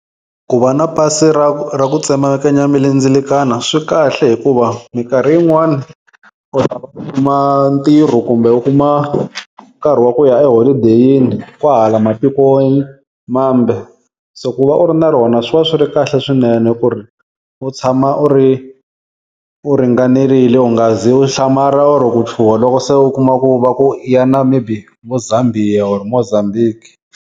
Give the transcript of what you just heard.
Ku va na pasi ra ra ku tsemakanya milendzelekano swi kahle hikuva minkarhi yin'wani ntirho kumbe u kuma nkarhi wa ku ya eholideyini kwahala matiko mambe. So ku va u ri na rona swi va swi ri kahle swinene ku ri u tshama u ri u ringanerile u nga zi u hlamala or-o ku chuha loko se u kuma ku va ku yana maybe vo Zambia or-o Mozambique.